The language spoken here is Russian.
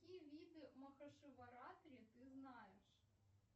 какие виды махашиваратри ты знаешь